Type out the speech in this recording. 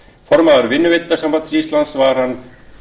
formaður vinnuveitendasambands íslands var hann